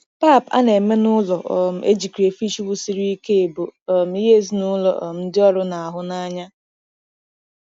Pap a na-eme n'ụlọ um e ji crayfish wusiri ike bụ um ihe ezinụlọ um ndị ọrụ na-ahụ n'anya.